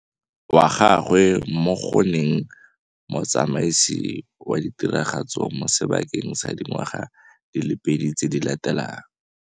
Wa gagwe mo go nneng motsamaisi wa ditiragatso mo sebakeng sa dingwaga di le pedi tse di latelang.